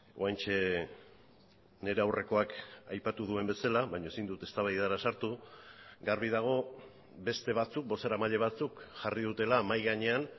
oraintxe nire aurrekoak aipatu duen bezala baina ezin dut eztabaidara sartu garbi dago beste batzuk bozeramaile batzuk jarri dutela mahai gainean